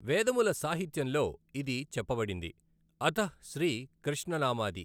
వేదముల సాహిత్యంలో ఇది చెప్పబడింది, అథః శ్రీ కృష్ణ నామాది.